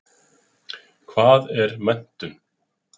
Hvað er menntun?